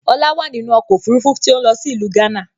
Ọlá wá nínú ọkọ̀ Òfurufú tí ó ń lọ sí ìlú gánà